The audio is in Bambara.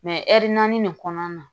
Mɛ ɛri naani de kɔnɔna na